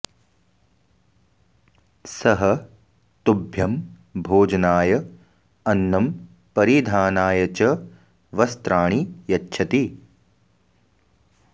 सः तुभ्यम् भोजनाय अन्नम् परिधानाय च वस्त्राणि यच्छति